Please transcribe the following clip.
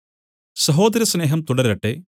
സഹോദര സ്നേഹം തുടരട്ടെ